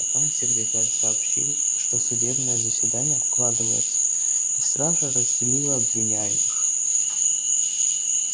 потом секретарь сообщил что судебное заседание откладывается и стража разделила обвиняемых